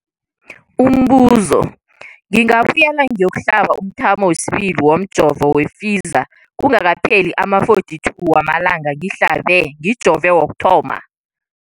Umbuzo, ngingabuyela ngiyokuhlaba umthamo wesibili womjovo we-Pfizer kungakapheli ama-42 wamalanga ngihlabe, ngijove kokuthoma.